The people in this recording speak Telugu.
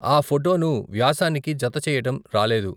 ఆ ఫోటో ను వ్యాసానికి జత చేయటం రాలేదు.